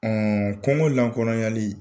kungo lankolonyali